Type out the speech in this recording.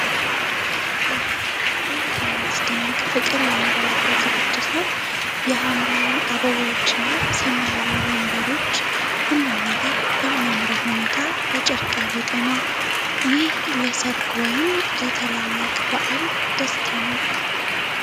ኦህ! እንዴት የሚያስደንቅ ፍቅር የሞላበት ዝግጅት ነው! የሐምራዊ አበባዎች እና ሰማያዊ ወንበሮች! ሁሉም ነገር በሚያምር ሁኔታ በጨርቅ ያጌጠ ነው! ይህ ለሠርግ ወይም ለታላቅ በዓል ደስታ ነው!